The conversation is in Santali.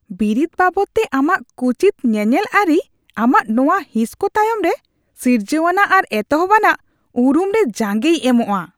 ᱵᱤᱨᱤᱫ ᱵᱟᱵᱚᱫᱛᱮ ᱟᱢᱟᱜ ᱠᱩᱪᱤᱛ ᱧᱮᱧᱮᱞ ᱟᱹᱨᱤ ᱟᱢᱟᱜ ᱱᱚᱶᱟ ᱦᱤᱸᱥ ᱠᱚ ᱛᱟᱭᱚᱢ ᱨᱮ ᱥᱤᱨᱡᱟᱣᱟᱱᱟᱜ ᱟᱨ ᱮᱛᱚᱦᱚᱵ ᱟᱱᱟᱜ ᱩᱨᱩᱢ ᱨᱮ ᱡᱟᱸᱜᱮᱭ ᱮᱢᱚᱜᱼᱟ ᱾